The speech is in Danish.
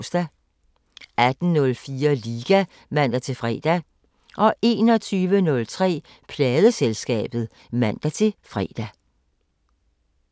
18:04: Liga (man-fre) 21:03: Pladeselskabet (man-fre)